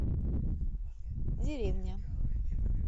деревня